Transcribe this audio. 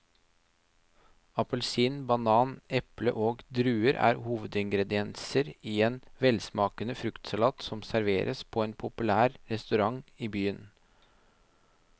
Appelsin, banan, eple og druer er hovedingredienser i en velsmakende fruktsalat som serveres på en populær restaurant i byen.